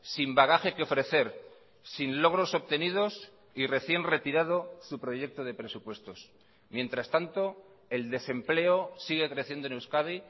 sin bagaje que ofrecer sin logros obtenidos y recién retirado su proyecto de presupuestos mientras tanto el desempleo sigue creciendo en euskadi